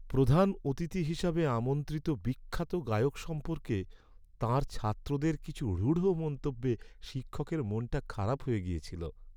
প্রধান অতিথি হিসেবে আমন্ত্রিত বিখ্যাত গায়ক সম্পর্কে তাঁর ছাত্রদের কিছু রূঢ় মন্তব্যে শিক্ষকের মনটা খারাপ হয়ে গিয়েছিল।